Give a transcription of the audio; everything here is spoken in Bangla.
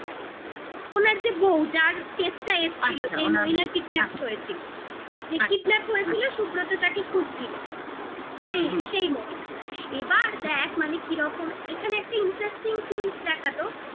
ওনার যে বউ, যার case টা এসছিল আচ্ছা ওনার বউ যে মহিলা kidnapped হয়েছিল যে kidnap হয়েছিল, সুব্রত যাকে খুঁজছিল হুম হুম সেই সেই মহিলা । এবার দেখ মানে কিরকম একটা interesting twist দেখাতো আচ্ছা